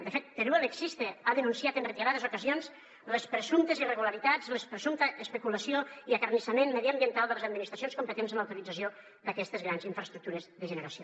de fet teruel existe ha denunciat en reiterades ocasions les presumptes irregularitats la presumpta especulació i acarnissament mediambiental de les administracions competents en l’autorització d’aquestes grans infraestructures de generació